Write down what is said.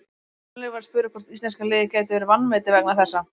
Gunnleifur var spurður hvort íslenska liðið gæti verið vanmetið vegna þessa.